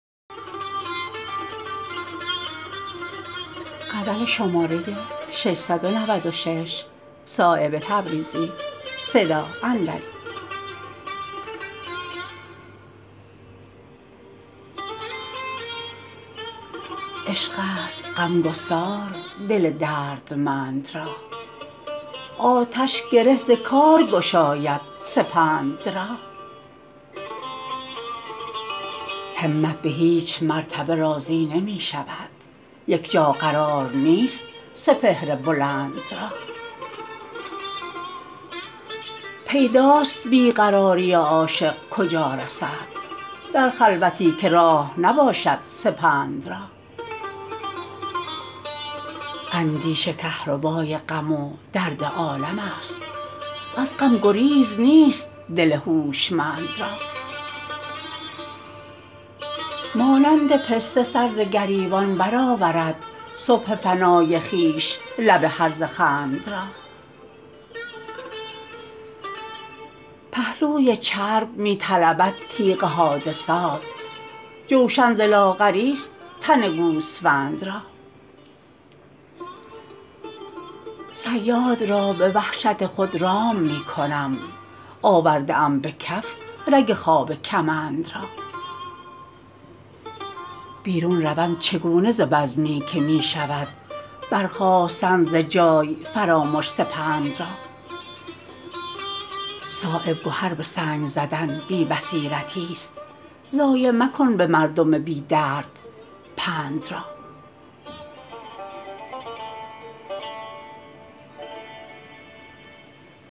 عشق است غمگسار دل دردمند را آتش گره ز کار گشاید سپند را همت به هیچ مرتبه راضی نمی شود یک جا قرار نیست سپهر بلند را پیداست بی قراری عاشق کجا رسد در خلوتی که راه نباشد سپند را اندیشه کهربای غم و درد عالم است از غم گزیر نیست دل هوشمند را مانند پسته سر ز گریبان برآورد صبح فنای خویش لب هرزه خند را پهلوی چرب می طلبد تیغ حادثات جوشن ز لاغری است تن گوسفند را صیاد را به وحشت خود رام می کنم آورده ام به کف رگ خواب کمند را بیرون روم چگونه ز بزمی که می شود برخاستن ز جای فرامش سپند را صایب گهر به سنگ زدن بی بصیرتی است ضایع مکن به مردم بی درد پند را